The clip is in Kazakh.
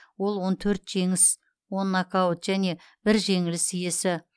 ол он төрт жеңіс он нокаут және бір жеңіліс иесі